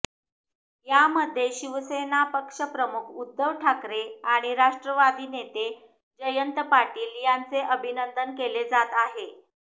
यामध्ये शिवसेना पक्षप्रमुख उद्धव ठाकरे आणि राष्ट्रवादी नेते जयंत पाटील यांचे अभिनंदन केले जात आहे